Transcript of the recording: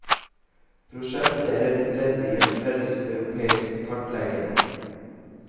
Prosjektet er et ledd i en felles europeisk kartlegging.